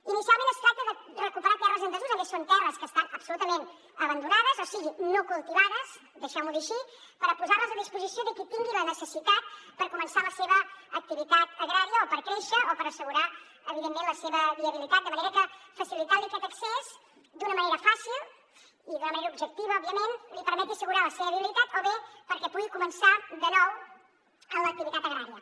inicialment es tracta de recuperar terres en desús a més són terres que estan absolutament abandonades o sigui no cultivades deixeu m’ho dir així per posar les a disposició de qui tingui la necessitat per començar la seva activitat agrària o per créixer o per assegurar evidentment la seva viabilitat de manera que facilitant li aquest accés d’una manera fàcil i d’una manera objectiva òbviament li permeti assegurar la seva viabilitat o bé perquè pugui començar de nou en l’activitat agrària